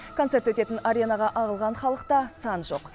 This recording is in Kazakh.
концерт өтетін аренаға ағылған халықта сан жоқ